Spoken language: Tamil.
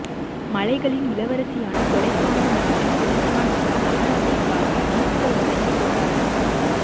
மலைகளின் இளவரசியான கொடைக்கானல் நகரின் பிறந்த நாள் விழா நகராட்சி சார்பில் இனிப்புகள் வழங்கி கொண்டாடம்